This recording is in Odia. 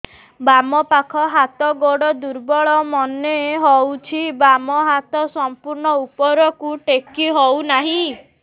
ବାମ ପାଖ ହାତ ଗୋଡ ଦୁର୍ବଳ ମନେ ହଉଛି ବାମ ହାତ ସମ୍ପୂର୍ଣ ଉପରକୁ ଟେକି ହଉ ନାହିଁ